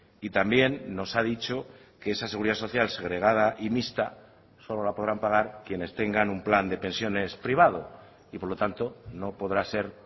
y también nos ha dicho que esa seguridad social segregada y mixta solo la podrán pagar quienes tengan un plan de pensiones privado y por lo tanto no podrá ser